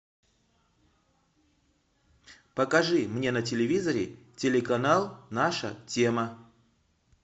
покажи мне на телевизоре телеканал наша тема